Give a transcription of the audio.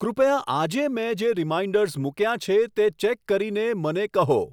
કૃપયા આજે મેં જે રીમાઈન્ડર્સ મૂક્યાં છે તે ચેક કરીને મને કહો